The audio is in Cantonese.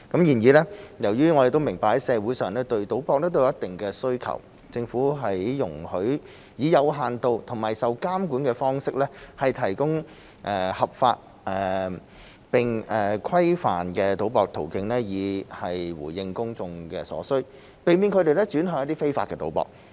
然而，由於社會對賭博有一定的需求，政府容許以有限度和受規管的方式，提供合法並規範的博彩途徑以回應公眾所需，避免他們轉向非法賭博。